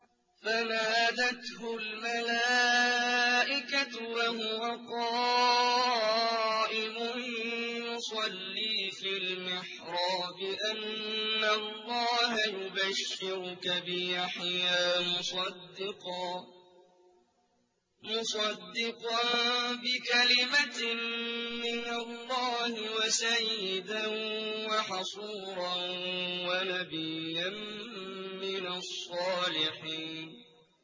فَنَادَتْهُ الْمَلَائِكَةُ وَهُوَ قَائِمٌ يُصَلِّي فِي الْمِحْرَابِ أَنَّ اللَّهَ يُبَشِّرُكَ بِيَحْيَىٰ مُصَدِّقًا بِكَلِمَةٍ مِّنَ اللَّهِ وَسَيِّدًا وَحَصُورًا وَنَبِيًّا مِّنَ الصَّالِحِينَ